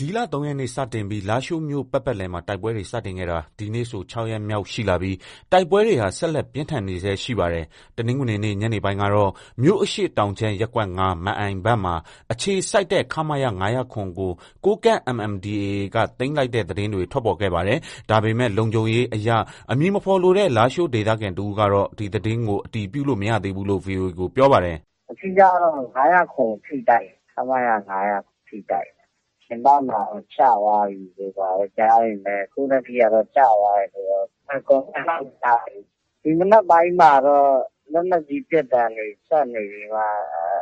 ဒီလ ၃ရက်နေ့ စတင်ပြီး လားရှိုးမြို့ ပတ်ပတ်လည်မှာ တိုက်ပွဲတွေ စတင်ခဲ့တာ ဒီနေ့ဆို ၆ရက်မြောက်ရှိလာပြီး တိုက်ပွဲတွေဟာ ဆက်လက်ပြင်းထန်နေဆဲရှိပါတယ်။ တနင်္ဂနွေနေ့ ညနေပိုင်းကတော့ မြို့အရှေ့တောင်ခြမ်း ရပ်ကွက် ၅ ၊ မန်အိုင်ဘက်မှာအခြေစိုက်တဲ့ ခမရ ကို ကိုးကန့် MNDAA က သိမ်းလိုက် သတင်းတွေ ထွက်ပေါ်ခဲ့ပါတယ်။ ဒါပေမဲ့ လုံခြုံရေးအရ အမည်မဖေါ်လိုတဲ့ လားရှိုးဒေသခံတဦးကတော့ ဒီသတင်းကို အတည်ပြုလို့ မရသေးဘူးလို့ ဗွီအိုအေကို ပြောပါတယ်။ “ အဓိကကတော့ ၅၀၇ကို ဖိတိုက်နေတာ။ ခမရ ၅၀၇ကို ဖိတိုက်နေတာ။ ပြင်ပမှာတော့ ကျသွားပြီတို့ ဘာတို့ ကြားပေမဲ့ အခုထက်ထိတော့ ကျသွားပြီလို့ Confirm တော့ မကြားရသေးဘူး။ ဒီမနက်ပိုင်းမှာတော့ လက်နက်ကြီး ပစ်သံတွေ ဆက်နေပြီးမှ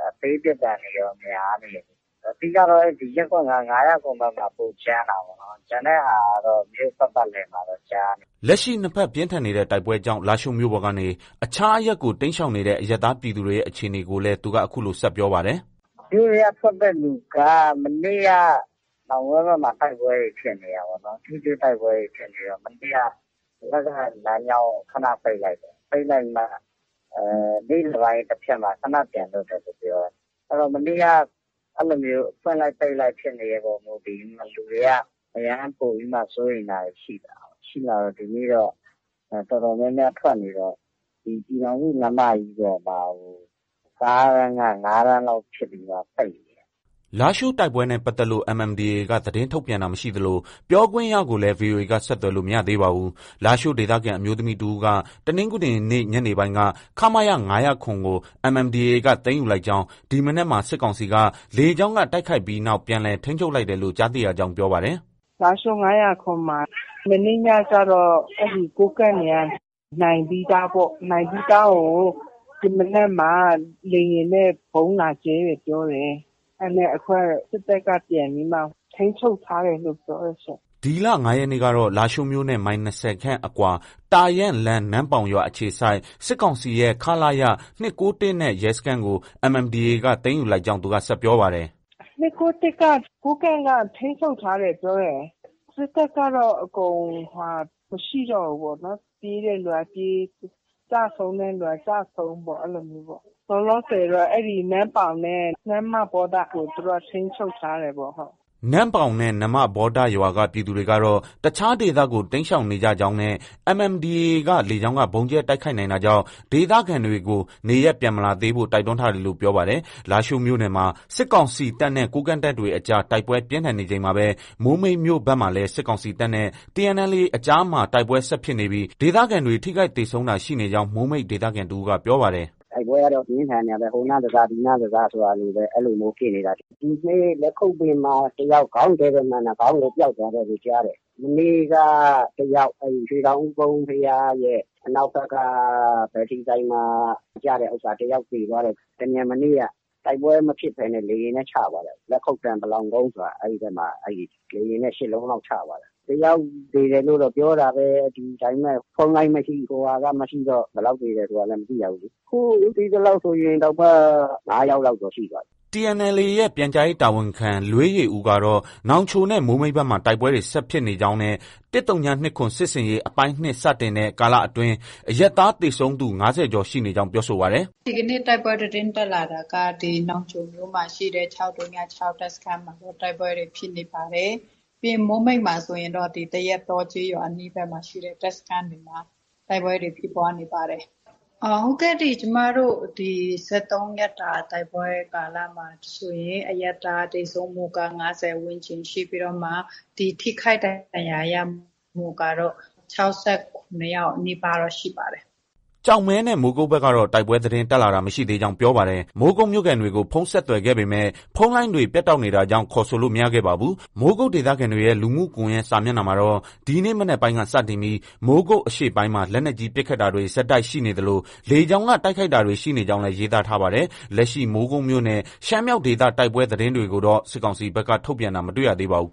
အသေးပစ်သံတွေရော များနေတယ်။ အဓိကကတော့ ရပ်ကွက် ၅ ၊ ၅၀၇ဘက်မှာ ပိုကြမ်းတာပေါ့။ ကျန်တဲ့ဟာကတော့ မြို့ ပတ်ပတ်လည်မှာတော့ ကြားနေရတယ်။” လက်ရှိ နှစ်ဘက် ပြင်းထန်နေတဲ့ တိုက်ပွဲကြောင့် လားရှိုးမြို့ပေါ်ကနေ အခြားအရပ်ကို တိမ်းရှောင်နေတဲ့ အရပ်သားပြည်သူတွေရဲ့ အခြေအနေကိုလည်း သူက အခုလို ဆက် ပြောပါတယ်။ “ မြို့ထဲက ထွက်တဲ့ လူက မနေ့က နောင်ကွဲဘက်မှာ တိုက်ပွဲတွေ ဖြစ်နေတာပေါ့။ ထိတွေ့တိုက်ပွဲတွေ ဖြစ်နေတော့ မနေ့က ဒီဘက်က လမ်းကြောင်းကို ခန ပိတ်လိုက်တယ်။ ပိတ်ပြီးမှ နေ့လည်ပိုင်း တဖြတ်မှာ ခန ပြန်ဖွင့်တယ်လို့ ပြောတယ်။ မနေ့က အဲလိုမျိုး ဖွင့်လိုက်၊ ပိတ်လိုက်ဖြစ်တဲ့အပေါ် မူတည်ပြီး လူတွေက အရမ်းပိုပြီး စိုးရိမ်တာတွေ ရှိတယ်။ ရှိတော့ ဒီနေ့တော့ တော်တော်များများ ထွက်နေတယ်။ ဒီ ပြည်ထောင်စုလမ်းမကြီးပေါ်မှာ ကားတန်းက ၅တန်းလောက်ဖြစ်ပြီးမှ ပိတ်နေတယ်။” လားရှိုးတိုက်ပွဲနဲ့ပတ်သက်လို့ MNDAA က သတင်းထုတ်ပြန်တာမရှိသလို ပြောခွင့်ရကိုလည်း ဗွီအိုအေက ဆက်သွယ်လို့ မရသေးပါဘူး။လားရှိုး ဒေသခံအမျိုးသမီးတဦးက တနင်္ဂနွေနေ့ ညနေပိုင်းက ခမရ ၅၀၇ကို MNDAA က သိမ်းယူလိုက်ကြောင်း၊ ဒီမနက်မှာ စစ်ကောင်စီက လေကြောင်းက တိုက်ခိုက်ပြီးနောက် ပြန်လည် ထိန်းချုပ်လိုက်တယ်လို့ ကြားသိရကြောင်း ပြောပါတယ်။ “ လားရှိုး ၅၀၇မှာ မနေ့ညကတော့ ကိုးကန့်တွေက နိုင်ပြီးသားပေါ့ နိုင်ပြီးသားကို ဒီမနက်မှာ လေယာဉ်နဲ့ ဗုံးလာကြဲတယ် ပြောတယ်။ အခုကတော့ စစ်တပ်က ပြန်ပြီးမှ ထိန်းချုပ်ထားတယ်လို့ ပြောတယ်ရှင့်။ ” ဒီလ ၅ရက်နေ့ကတော့ လားရှိုးမြို့နဲ့ မိုင်၂၀ခန့်အကွာ တာယန်းလမ်း၊ နမ့်ပေါင်ရွာအခြေစိုက် စစ်ကောင်စီရဲ့ ခလရ ၂၉၁နဲ့ ရဲစခန်းကို MNDAA က သိမ်းယူလိုက်ကြောင်း သူက ဆက်ပြောပါတယ်။ “ ၂၉၁က ကိုးကန့်က ထိန်းချုပ်ထားတယ်ပြောတယ်။ စစ်တပ်ကတော့ အကုန် မရှိတော့ဘူးပေါ့နော်။ ပြေးတဲ့သူက ပြေး။ ကျဆုံးတဲ့သူက ကျဆုံးပေါ့။ အဲလိုမျိုးပေါ့။ လောလောဆည်တော့နမ့်ပေါင်နဲ့ နမ္မဗောဒကို သူတို့က ထိန်းချုပ်ထားတယ်ပေါ့။” နမ့်ပေါင်နဲ့ နမ္မဗောဒရွာက ပြည်သူတွေကတော့ တခြားဒေသကို တိမ်းရှောင်နေကြကြောင်းနဲ့ MNDAA က လေကြောင်းက ဗုံးကြဲတိုက်ခိုက်နိုင်တာကြောင် ဒေသခံတွေကို နေရပ်ပြန်မလာသေးဖို့ တိုက်တွန်းထားတယ်လို့ ပြောပါတယ်။ လားရှိုးမြို့နယ်မှာ စစ်ကောင်စီတပ်နဲ့ ကိုးကန့်တပ်တွေအကြား တိုက်ပွဲပြင်းထန်နေချိန်မှာပဲ မိုးမိတ်မြို့ဘက်မှာလည်း စစ်ကောင်စီတပ်နဲ့ TNLA အကြားမှာ တိုက်ပွဲဆက်ဖြစ်နေပြီး ဒေသခံတွေ ထိခိုက်သေဆုံးတာ ရှိနေကြောင်း မိုးမိတ်ဒေသခံတဦးက ပြောပါတယ်။ “ တိုက်ပွဲကတော့ ပြင်းထန်နေတာပဲ။ ဟိုနားတစ၊ ဒီနားတစ ဆိုတာလို အဲလိုမျိုးဖြစ်နေတာ။ ဒီနေ့ လက်ခုပ်ပင်မှာ ခေါင်းတည့်တည့်မှန်တာ ခေါင်းကို ပျောက်သွားတယ်လို့ ကြားတယ်။ မနေ့ကတယောက် အဲဒီ ရွှေတောင်ဦးကုန်း ဘုရားရဲ့ အနောက်ဘက်က ဘက်ထရီဆိုင်မှာ ကျတဲ့ဥစ္စာ တယောက်သေသွားတယ်။ တမြန်နေ့က တိုက်ပွဲမဖြစ်ဘဲ လေယာဉ်နဲ့ ချသွားတာ။ လက်ခုပ်တန်း ပလောင်ကုန်းမှာ အဲဒီဘက်မှာ လေယာဉ်နဲ့ ၈လုံးလောက် ချသွားတာ။ တယောက်သေတယ်လို့တော့ ပြောတာပဲ။ ဒါပေမဲ့ ဖုန်းလိုင်းမရှိ၊ ဟိုဟာက မရှိတော့ ဘယ်လောက်သေတယ်ဆိုတာလည်း မသိရဘူးလေ။ ခု သိသလောက်ဆိုရင်တောင်မှ ၅ယောက်လောက်တော့ ရှိသွားပြီ။ ” TNLA ရဲ့ ပြန်ကြားရေးတာဝန်ခံ လွေးယေဦးကတော့ နောင်ချိုနဲ့ မိုးမိတ်ဘက်မှာ တိုက်ပွဲတွေ ဆက်ဖြစ်နေကြောင်းနဲ့ ၁၀၂၇ စစ်ဆင်ရေး အပိုင်း ၂ စတင်တဲ့ ကာလအတွင်း အရပ်သားသေဆုံးသူ ၅၀ကျော်ရှိနေကြောင်း ပြောဆိုပါတယ်။ “ ဒီကနေ့ တိုက်ပွဲသတင်းတက်လာတာက နောင်ချိုမြို့မှာ ရှိတဲ့ ၆၀၆ တပ်စခန်းမှာ တိုက်ပွဲတွေ ဖြစ်နေပါတယ်။ ပြီးရင် မိုးမိတ်မှာဆိုရင်တော့ သရက်တောကျေးရွာဘက်မှာ ရှိတဲ့ တပ်စခန်းတွေမှာ တိုက်ပွဲတွေ ဖြစ်ပွားနေပါတယ်။ ကျမတို့ ၁၃ရက်တာ တိုက်ပွဲကာလမှာဆိုရင် အရပ်သားသေဆုံးမှုက ၅၀ ဝန်းကျင်ရှိပြီးတော့မှ ဒီ ထိခိုက်ဒဏ်ရာရမှုကတော့ ၆၇ယောက်နီးပါးတော့ ရှိပါတယ်။ ” ကျောက်မဲနဲ့ မိုးကုတ်ဘက်ကတော့ တိုက်ပွဲသတင်းတက်လာတာမရှိသေးကြောင်း ပြောပါတယ်။ မိုးကုတ်မြို့ခံတွေကို ဖုန်းဆက်သွယ်ခဲ့ပေမဲ့ ဖုန်းလိုင်းတွေ ပြတ်တောက်နေတာကြောင့် ခေါ်ဆိုလို့ မရခဲ့ပါဘူး။ မိုးကုတ်ဒေသခံတွေရဲ လူမှုကွန်ရက်စာမျက်နှာမှာတော့ ဒီနေ့ မနက်ပိုင်းက စတင်ပြီး မိုးကုတ် အရှေ့ပိုင်းမှာ လက်နက်ကြီး ပစ်ခတ်တာတွေ ဆက်တိုက်ရှိနေသလို လေကြောင်းက တိုက်ခိုက်တာတွေ ရှိနေကြောင်းလည်း ရေးသားထားပါတယ်။ လက်ရှိ မိုးကုတ်မြို့နဲ့ ရှမ်းမြောက်ဒေသတိုက်ပွဲသတင်းတွေကိုတော့ စစ်ကောင်စီဘက်က ထုတ်ပြန်တာ မတွေ့ရသေးပါဘူး